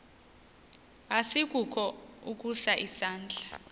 asikukho ukusa isandla